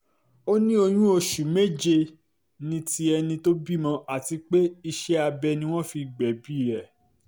ó ní oyún oṣù méje ní ti ẹni tó bímọ àti pé iṣẹ́ abẹ ni wọ́n fi gbẹ̀bí ẹ̀